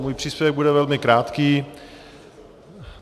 Můj příspěvek bude velmi krátký.